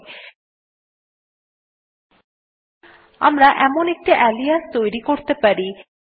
আমরা একটি আলিয়াস তৈরী করতে পারি আলিয়াস আরএম সমান চিন্হ quote এর মধ্যে এখন আরএম স্পেস হাইফেন i লিখুন